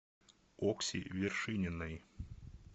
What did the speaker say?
окси вершининой